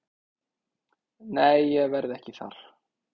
Nei ég verð ekki þar.